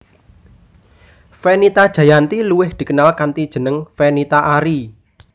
Fenita Jayanti luwih dikenal kanthi jeneng Fenita Arie